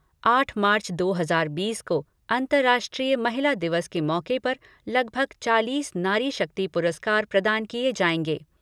आठ मार्च दो हज़ार बीस को अंतर्राष्ट्रीय महिला दिवस पर लगभग चालीस नारी शक्ति पुरस्कार प्रदान किए जाएँगे।